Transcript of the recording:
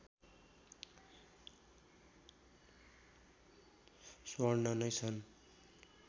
स्वर्ण नै छन्